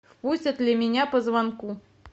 пустят ли меня по звонку